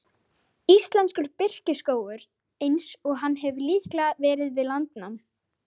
Íslenskur birkiskógur eins og hann hefur líklega verið við landnám.